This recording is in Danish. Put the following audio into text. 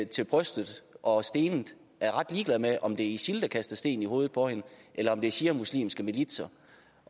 til brystet og stenet er ret ligeglad med om det er isil der kaster sten i hovedet på hende eller om det er shiamuslimske militser